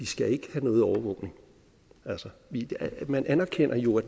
skal have noget overvågning altså man anerkender jo at